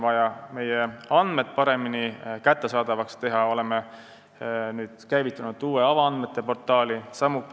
Et meie andmed paremini kättesaadavaks teha, oleme käivitanud uue avaandmete portaali.